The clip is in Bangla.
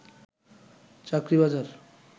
চাকরি বাজার